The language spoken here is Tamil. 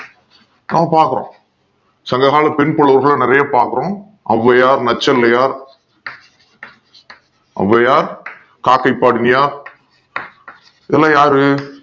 அத பாக்குறோம் சங்ககால பெண் புலவர்கள் நிறைய பேர் பாக்கணும் ஒளவையார் நச்சிளையார் ஒளவையார் காக்கை பாடுமியார் இதுலா யாரு